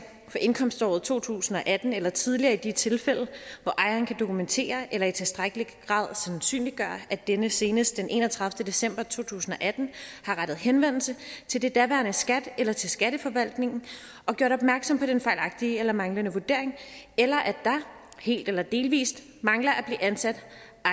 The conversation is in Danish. indkomståret to tusind og atten eller tidligere i de tilfælde hvor ejeren kan dokumentere eller i tilstrækkelig grad sandsynliggøre at denne senest den enogtredivete december to tusind og atten har rettet henvendelse til det daværende skat eller til skatteforvaltningen og gjort opmærksom på den fejlagtige eller manglende vurdering eller at der helt eller delvis mangler at blive ansat